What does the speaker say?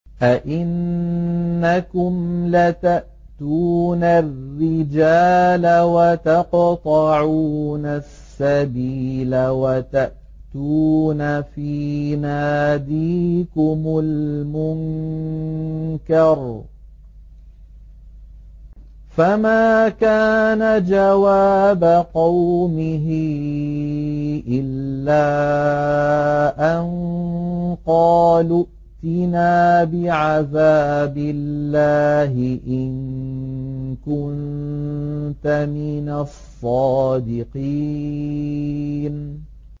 أَئِنَّكُمْ لَتَأْتُونَ الرِّجَالَ وَتَقْطَعُونَ السَّبِيلَ وَتَأْتُونَ فِي نَادِيكُمُ الْمُنكَرَ ۖ فَمَا كَانَ جَوَابَ قَوْمِهِ إِلَّا أَن قَالُوا ائْتِنَا بِعَذَابِ اللَّهِ إِن كُنتَ مِنَ الصَّادِقِينَ